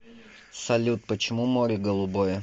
салют почему море голубое